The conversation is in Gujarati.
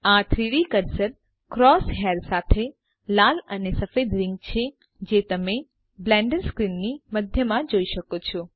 આ 3ડી કર્સર ક્રોસ હેર સાથે લાલ અને સફેદ રીંગ છેજે તમેં બ્લેન્ડર સ્ક્રીનની મધ્યમાં જોઈ શકો છો